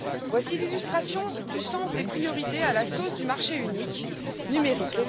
Voici l'illustration du sens des priorités à la sauce du marché unique numérique.